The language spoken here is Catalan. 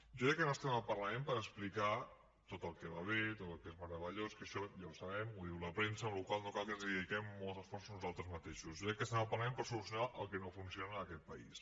jo crec que no estem en el parlament per explicar tot el que va bé tot el que és meravellós que això ja ho sabem ho diu la premsa amb la qual cosa no cal que hi dediquem molts esforços nosaltres mateixos jo crec que estem en el parlament per solucionar el que no funciona en aquest país